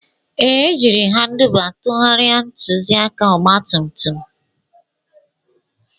Ee, ejiri m Handuba tụgharịa ntụzịaka ọgba tum tum